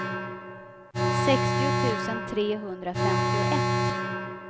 sextio tusen trehundrafemtioett